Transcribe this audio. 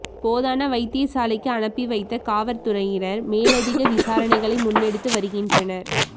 போதனா வைத்திய சாலைக்கு அனுப்பி வைத்த காவற்துறையினர் மேலதிக விசாரணைகளை முன்னெடுத்து வருகின்றனர்